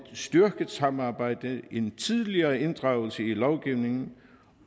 styrket samarbejde en tidligere inddragelse i lovgivningen